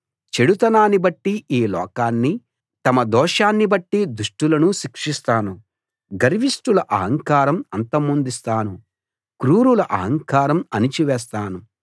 చెడుతనాన్ని బట్టి ఈ లోకాన్నీ తమ దోషాన్ని బట్టి దుష్టులనూ శిక్షిస్తాను గర్విష్టుల అహంకారం అంతమొందిస్తాను క్రూరుల అహంకారం అణిచివేస్తాను